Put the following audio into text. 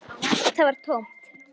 Það var tómt.